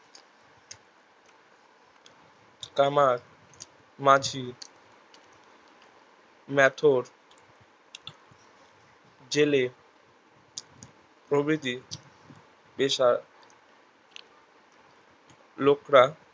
কামার মাঝি মেথর জেলে প্রবৃতি যেসব লোকরা